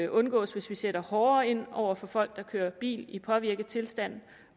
undgås hvis vi sætter hårdere ind over for folk der kører bil i påvirket tilstand